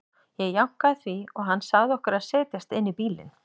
Ég jánkaði því og hann sagði okkur að setjast inn í bílinn.